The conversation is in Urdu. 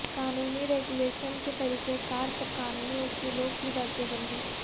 قانونی ریگولیشن کے طریقہ کار پر قانونی اصولوں کی درجہ بندی